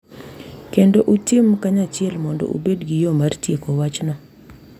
Kendo utim kanyachiel mondo ubed gi yo mar tieko wachno.